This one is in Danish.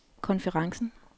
konferencen